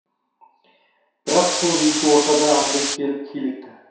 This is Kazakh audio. бірақ сол екі ортада андрей келіп килікті